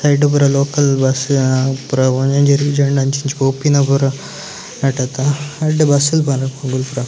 ಐಟ್ ಪೂರ local bus ಪೂರ ಒಂಜೊಂಜಿ ರೀಜನ್‌ಲ ಅಂಚಿಂಚ ಪೋಪಿನ ಪೂರ ಎಡ್ಡೆ ಬಸ್‌ಲ್‌